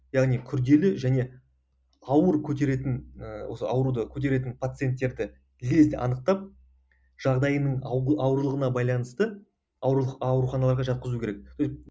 яғни күрделі және ауыр көтеретін ііі осы ауруды көтеретін пациенттерді лезде анықтап жағдайының ауырлығына байланысты ауруханаларға жатқызу керек